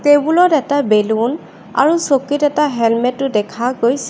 Table ত এটা balloon আৰু চকীত এটা হেলমেটো দেখা গৈছে।